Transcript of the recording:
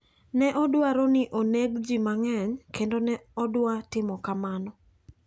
Ne odwaro ni oneg ji mang`eny kendo ne odwa timo kamano.